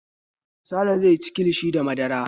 Sale zai ci kilishi da madara.